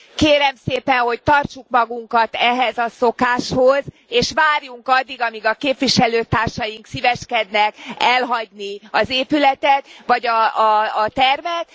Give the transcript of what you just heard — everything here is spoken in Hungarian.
Kérem szépen, hogy tartsuk magunkat ehhez a szokáshoz, és várjunk addig, amíg a képviselőtársaink szíveskednek elhagyni az épületet vagy a termet.